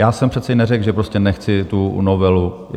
Já jsem přece neřekl, že prostě nechci tu novelu.